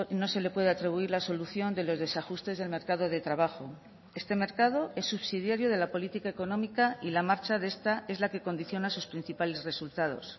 no se le puede atribuir la solución de los desajustes del mercado de trabajo este mercado es subsidiario de la política económica y la marcha de esta es la que condiciona sus principales resultados